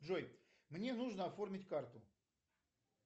джой мне нужно оформить карту